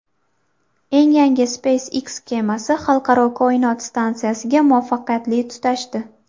Eng yangi SpaceX kemasi Xalqaro koinot stansiyasiga muvaffaqiyatli tutashdi.